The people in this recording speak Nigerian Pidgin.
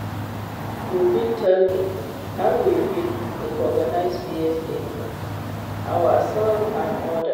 you fit tell me how we fit recognize bias in ourselves and odas?